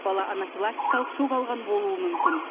бала анафилактикалық шок алған болуы мүмкін